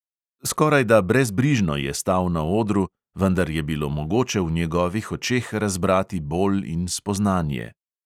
Skorajda brezbrižno je stal na odru, vendar je bilo mogoče v njegovih očeh razbrati bol in spoznanje.